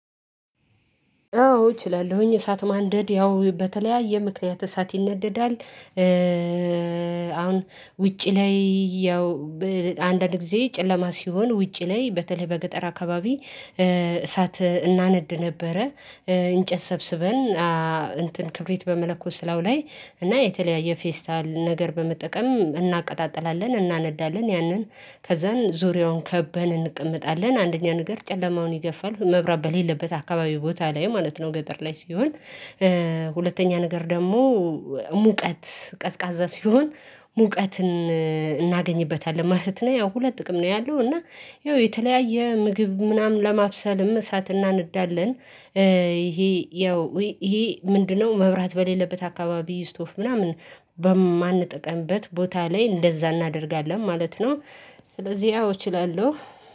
አዎ እችላለሁኝ እሳት ማንደድ ያው በተለያየ ምክንያት እሳት ይነደዳል። አሁን ውጪ ላይ ያው በ አንዳንድ ጊዜ ጨለማ ሲሆን ውጪ ላይ በተለይ በገጠር አካባቢ እሳት እናነድ ነበረ። እንጨት ሰብስበን አ እንትን ክብሪት በመለኮስ ላዩ ላይ እና የተለያየ ፌስታል ነገር በመጠቀም እናቀጣጥላለን እናነዳለን ያንን ከዛን ዙሪያውን ከበን እንቀመጣለን አንደኛ ነገር ጨለማውን ይገፋል መብራት በሌለበት አካባቢ ቦታ ላይ ማለት ነው ገጠር ላይ ሲሆን። ሁለተኛ ነገር ደግሞ ሙቀት ቀዝቃዛ ሲሆን ሙቀትን እናገኝበታለን ማለት ነው። ያው ሁለት ጥቅም ነው ያለው እና ይኸው የተለያየ ምግብ ምናምን ለማብሰልም እሳትና እናነዳለን። ይሄ ያው ይሄ ምንድነው? መብራት በሌለበት አካባቢ ስቶቭ ምናምን በማንጠቀምበት ቦታ ላይ እንደዛ እናደርጋለን ማለት ነው። ስለዚህ ያው እችላለሁ